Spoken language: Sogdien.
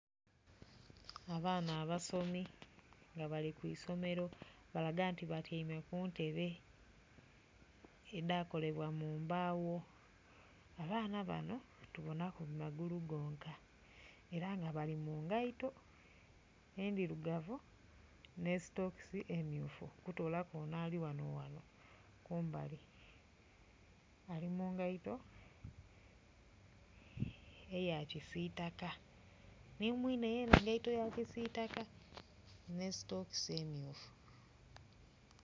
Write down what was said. Abaana abasomi nga bali ku isomero balaga nti batyeime ku ntebe edakolebwa mu mbawo. Abaana bano tubonaku magulu gonka era nga bali mu ngeito endhirugavu ne sitokisi emyufu okutoolaku ono ali wano wano kumbali ali mu ngeito eya kisitaka ni mwiine yena engeito ya kisitaka ne sitokisi myufu.